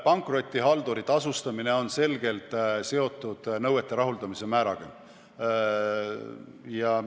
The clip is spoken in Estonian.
Pankrotihalduri tasustamine on selgelt seotud nõuete rahuldamise määraga.